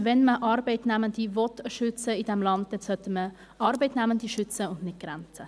Wenn man Arbeitnehmende in diesem Land schützen will, sollte man Arbeitnehmende schützen und nicht die Grenze.